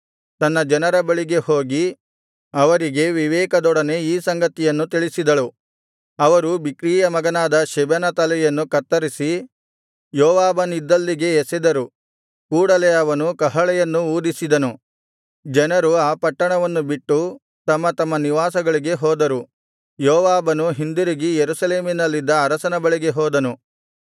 ತನ್ನ ಜನರ ಬಳಿಗೆ ಹೋಗಿ ಅವರಿಗೆ ವಿವೇಕದೊಡನೆ ಈ ಸಂಗತಿಯನ್ನು ತಿಳಿಸಿದಳು ಅವರು ಬಿಕ್ರೀಯ ಮಗನಾದ ಶೆಬನ ತಲೆಯನ್ನು ಕತ್ತರಿಸಿ ಯೋವಾಬನಿದ್ದಲ್ಲಿಗೆ ಎಸೆದರು ಕೂಡಲೆ ಅವನು ಕಹಳೆಯನ್ನು ಊದಿಸಿದನು ಜನರು ಆ ಪಟ್ಟಣವನ್ನು ಬಿಟ್ಟು ತಮ್ಮ ತಮ್ಮ ನಿವಾಸಗಳಿಗೆ ಹೋದರು ಯೋವಾಬನು ಹಿಂದಿರುಗಿ ಯೆರೂಸಲೇಮಿನಲ್ಲಿದ್ದ ಅರಸನ ಬಳಿಗೆ ಹೋದನು